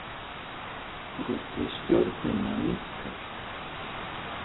Stuðningur við stjórnina minnkar